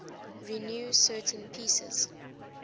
renew certain pieces